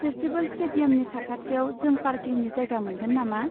Festival स्टेडियामनि साखाथियाव जों पार्किंनि जायगा मोनगोन नामा?